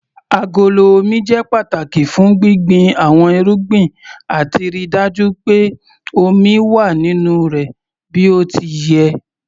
Agolo Omi jẹ́ pàtàki fún gbíngbin àwọn irúgbìn àti ríi dájú pé omi wà nínú rẹ̀ bí ó ti yẹ.